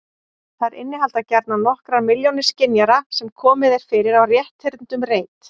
Þær innihalda gjarnan nokkrar milljónir skynjara sem komið er fyrir á rétthyrndum reit.